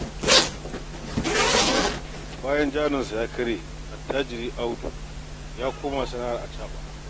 Bayan jarinsa ya karye, Attajiri audu ya koma sana'ar acaɓa